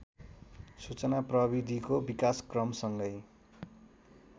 सूचना प्रविधिको विकासक्रमसँगै